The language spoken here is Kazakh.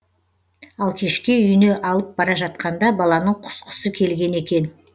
ал кешке үйіне алып бара жатқанда баланың құсқысы келген екен